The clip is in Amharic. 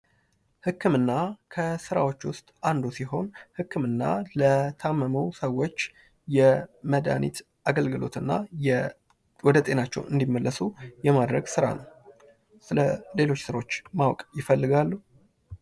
ህክምና ከስራዎች ውስጥ አንዱ ሲሆን ህክምና ለታመሙ ሰዎች የመድኃኒት አገልግሎት እና ወደጤናቸው እንድመለሱ የማድረግ ስራ ነው። ስለ ሌሎች ሰዎች ማወቅ ይፈልጋሉ?